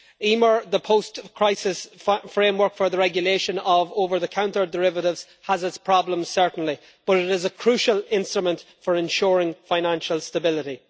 EMIR, the post crisis framework for the regulation of over the counter derivatives, has its problems certainly, but it is a crucial instrument for ensuring financial stability.